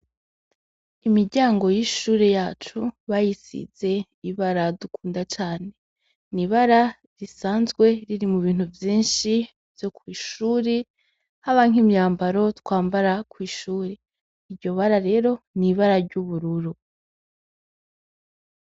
Imiryango y'ishure yacu bayisize ibara dukunda cane. Ni ibara risanzwe riri mu bintu vyinshi vyo kw'ishure, haba nk'imyambaro twambara kw'ishure. Iryo bara rero ni ibara ry'ubururu.